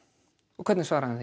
og hvernig svaraði